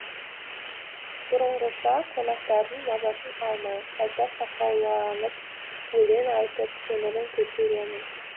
бұрынғыша қонақтардың мазасын алмай қайта сақауланып өлең айтып көңілін көтеремін